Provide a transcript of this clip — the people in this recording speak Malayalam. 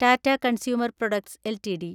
Tata Consumer Products LTD